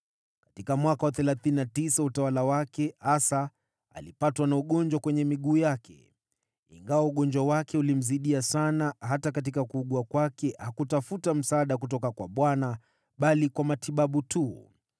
Katika mwaka wa thelathini na tisa wa utawala wake, Asa alipatwa na ugonjwa kwenye miguu yake. Ingawa ugonjwa wake ulimzidia sana, hata katika kuugua kwake hakutafuta msaada kutoka kwa Bwana bali kwa matabibu tu.